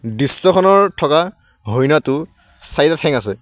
দৃশ্যখনৰ থকা হৰিণাটো চাৰিটা ঠেং আছে।